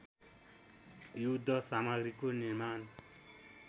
युद्ध सामग्रीको निर्माण